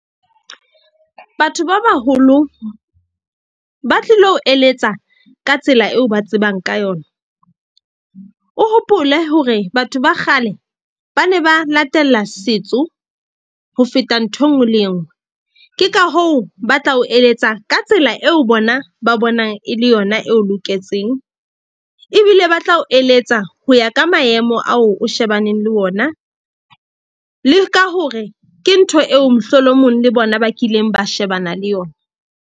Batho ba baholo ba tlilo eletsa ka tsela eo ba tsebang ka yona. O hopole hore batho ba kgale ba ne ba latela setso ho feta nthwe e nngwe le e nngwe. Ke ka hoo, ba tla o eletsa ka tsela eo bona ba bonang e le yona eo loketseng. Ebile ba tla o eletsa ho ya ka maemo ao o shebaneng le ona, le ka hore ke ntho eo mohlolomong le bona ba kileng ba shebana le yona.